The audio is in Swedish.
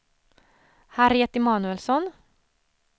Harriet Emanuelsson